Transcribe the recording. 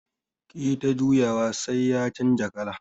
Kiyi ta juyawa sai ya canja kala.